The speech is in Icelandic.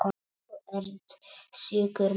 Þú ert sjúkur maður.